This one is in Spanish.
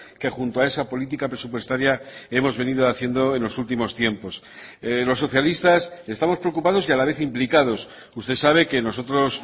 que junto a esa política presupuestaria hemos venido haciendo en los últimos tiempos los socialistas estamos preocupados y a la vez implicados usted sabe que nosotros